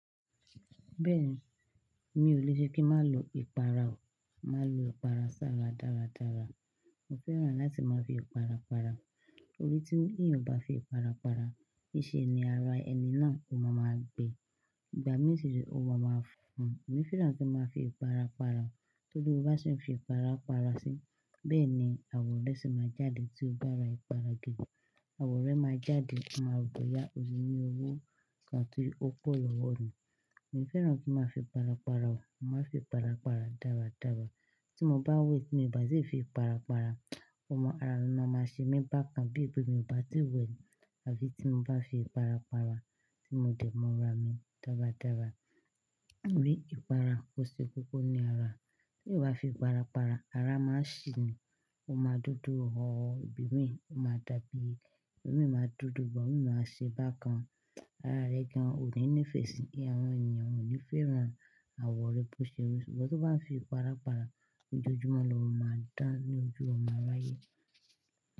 Bẹ́ẹ̀ni, mi ò le ṣe kí má lo ìpara o. Ma lo ìpara sára dára dára. Mo fẹ́ràn láti máa fi ìpara para. Torí tí èèyàn o bá fi ìpara para, íse ni ara ẹni náà ó má ma gbé. Ìgbà mí sì rẹ̀ o má a fúnfún, èmi fẹ́ràn kí n má fi ìpara para. Torí tí o bá ṣe n fi ìpara para sí, bẹ́ẹ̀ ni àwọ̀rẹ́ sì ma jáde tí o bá ra ìpara gidi. Àwọ̀rẹ́ má a jáde, wọ́n má a rò bọ̀yá. Ó ní owó kan tí ó pọ̀ lọ́wọ́ ni. Mo fẹ́ràn kí n má a fi ìpara para o. Mo má a fi ìpara para dára dára. Tí mo bá wẹ̀ tí mi bá ti fi ìpara para, ó mọ ara mi má a ṣe mí bákan bí pé mi ò bá ti wẹ̀ ni àfi tí n bá fi ìpara para tí mo dẹ̀ mọ́ ara mi dára dára. Ní ìpara, ó ṣe kókó ní ara. Tí èèyàn ò bá fi ìpara para, ara má a ń ṣì ní, o má a ń dúdú họ̀họ́, ibi mi ò má a dàbí. Ibi mi má a dúdú, ibi mi má a ṣe bákan. Ara rẹ̀ gan òní nífẹ̀ẹ́ sí i. Àwọn èèyàn ò ní fẹ́ràn àwọ̀rẹ́ tó ṣe rì. Ṣùgbọ́n tí wọ́n bá fi ìpara para lójoojúmọ́ lóò má a dán ní ojú, ó mo a ráyè.